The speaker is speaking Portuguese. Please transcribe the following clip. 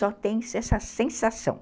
Só tem essa sensação.